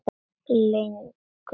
legu stolti.